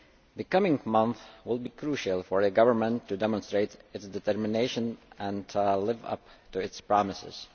The coming months will be crucial for the government to demonstrate its determination and live up to its promises.